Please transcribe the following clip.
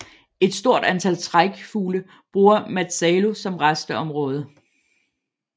Et stort antal trækfugle bruger Matsalu som rasteområde